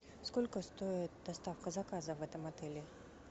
сколько стоит доставка заказа в этом отеле